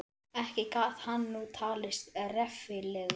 Ekki gat hann nú talist reffilegur.